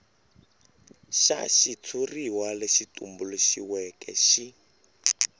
xa xitshuriwa lexi tumbuluxiweke xi